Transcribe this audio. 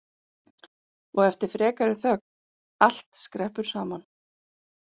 Og eftir frekari þögn: Allt skreppur saman